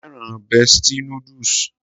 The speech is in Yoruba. Mo féràn bestie noodles.